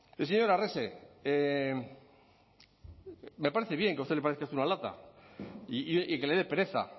el señor arrese me parece bien que a usted le parezca esto una lata y que le dé pereza